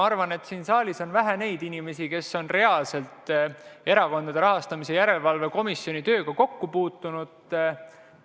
Ma arvan, et siin saalis on vähe inimesi, kes on reaalselt Erakondade Rahastamise Järelevalve Komisjoni tööga kokku puutunud.